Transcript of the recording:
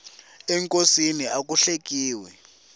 enkosini aku hlekiwi